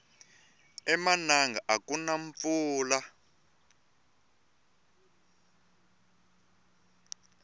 emananga akuna mpfula